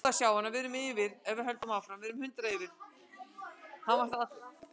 Hann var þá allur saltaður.